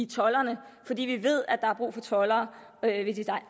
toldere fordi vi ved at der er brug for toldere ved de